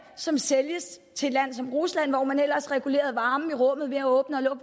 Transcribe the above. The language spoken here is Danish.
som sælges til et land som rusland hvor man ellers regulerede varmen i rummet ved at åbne og